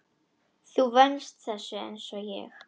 Þú venst þessu einsog ég.